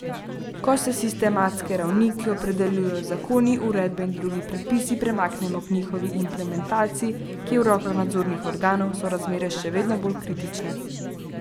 Ko se s sistemske ravni, ki jo opredeljujejo zakoni, uredbe in drugi predpisi, premaknemo k njihovi implementaciji, ki je v rokah nadzornih organov, so razmere še veliko bolj kritične.